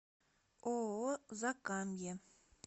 ооо закамье